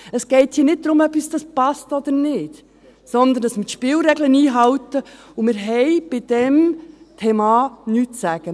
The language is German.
Es geht hier nicht darum, ob uns dies passt oder nicht, sondern darum, dass wir die Spielregeln einhalten, und wir haben zu diesem Thema nichts zu sagen.